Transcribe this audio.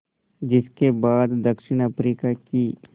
जिस के बाद दक्षिण अफ्रीका की